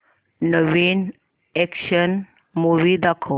नवीन action movie दाखव